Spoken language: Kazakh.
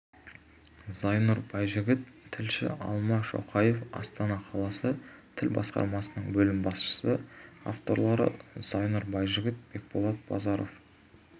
зайнұр байжігіт тілші алма шоқаева астана қаласы тіл басқармасының бөлім басшысы авторлары зайнұр байжігіт бекболат базаров